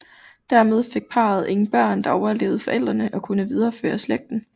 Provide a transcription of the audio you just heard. Dermed fik parret ingen børn der overlevede forældrene og kunne videreførere slægten